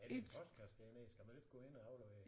Er der en postkasse dernede skal man ikke gå ind og aflevere?